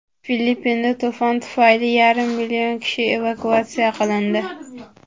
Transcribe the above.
Filippinda to‘fon tufayli yarim million kishi evakuatsiya qilindi.